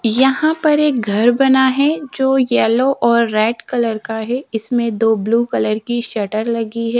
यहां पर एक घर बना है जो येलो और रेड कलर का है इसमें दो ब्लू कलर की शटर लगी है।